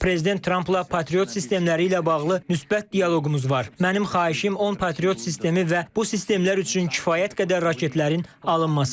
Prezident Trampla Patriot sistemləri ilə bağlı müsbət dialoqumuz var, mənim xahişim 10 Patriot sistemi və bu sistemlər üçün kifayət qədər raketlərin alınmasıdır.